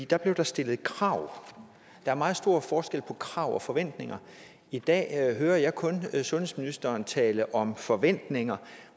da blev der stillet krav der er meget stor forskel på krav og forventninger i dag hører jeg kun sundhedsministeren tale om forventninger